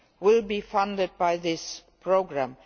will be funded by this programme.